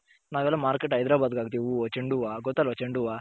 ನಾವೆಲ್ಲಾ Market ಹೈದರಾಬಾದ್ ಗ್ ಹಾಕ್ತಿವಿ ಹೂವ ಚೆಂಡು ಹೂವ್ವ ಗೊತ್ತಲ್ವ ಚೆಂಡು ಹೂವ್ವ